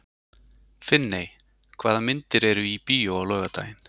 Finney, hvaða myndir eru í bíó á laugardaginn?